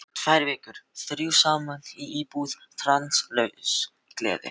Tvær vikur, þrjú saman í íbúð, stanslaus gleði.